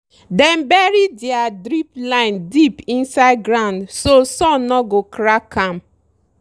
dem bury their drip line deep inside ground so sun no go crack am.